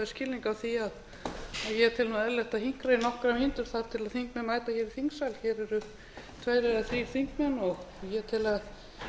skilning á því að ég tel eðlilegt að hinkra í nokkrar mínútur þar til þingmenn mæta í þingsal hér eru tveir eða þrír þingmenn og ég tel